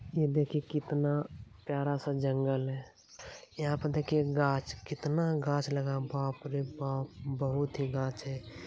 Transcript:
ये देखिए कितना प्यारा-सा जंगल है यहाँ पे देखिए गाछ कितना गाछ लगा हुआ है बाप रे बाप बहुत ही गाछ है।